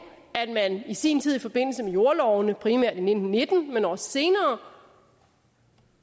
at man i sin tid i forbindelse med jordlovene primært i nitten nitten men også senere